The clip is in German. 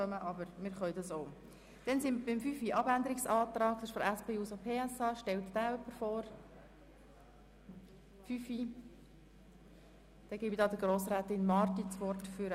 Eigentlich wäre es praktischer, zuerst die Abänderungsanträge zu kennen und dann die Fraktionen zu Wort kommen zu lassen.